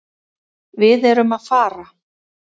Við erum að fara.